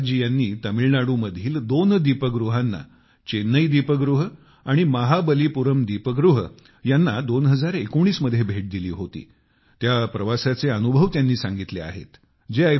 गुरु प्रसाद जी ह्यांनी तामिळनाडूमधील दोन दीपगृहांना चेन्नई दीप गृह आणि महाबलीपुरम दीप गृह ह्यांना 2019 मध्ये भेट दिली होती त्या प्रवासाचे अनुभव सांगितले आहेत